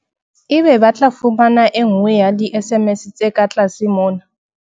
Ebe ba tla fumana e nngwe ya di-SMS tse ka tlase mona.